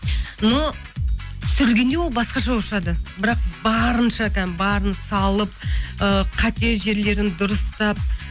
но түсірілгенде ол басқаша болып шығады бірақ барынша барын салып ыыы қате жерлерін дұрыстап